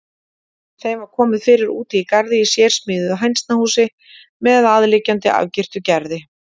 Þeim var komið fyrir úti í garði í sérsmíðuðu hænsnahúsi með aðliggjandi, afgirtu gerði.